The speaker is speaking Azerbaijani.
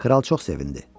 Kral çox sevindi.